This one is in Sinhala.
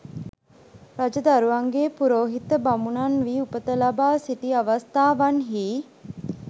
රජදරුවන්ගේ පුරෝහිත බමුණන් වී උපත ලබා සිටි අවස්ථාවන්හි